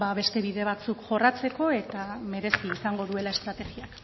beste bide batzuk jorratzeko eta merezi izango duela estrategia